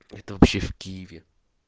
это вообще в киеве